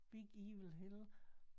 Big evil hill